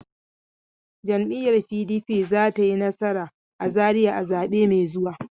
Jam'iyyar PDP za ta yi nasara a Zariya a zabe mai zuwa.